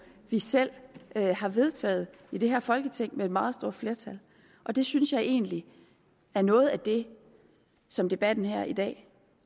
vi selv har vedtaget i det her folketing med et meget stort flertal og det synes jeg egentlig er noget af det som debatten her i dag